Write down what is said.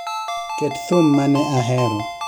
Ket thum mane ahero